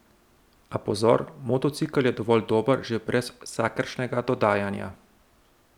A pozor, motocikel je dovolj dober že brez vsakršnega dodajanja.